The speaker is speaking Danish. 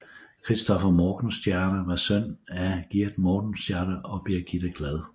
Christopher Morgenstierne var søn af Giert Morgenstierne og Birgitte Glad